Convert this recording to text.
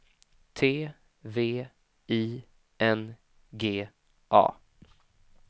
T V I N G A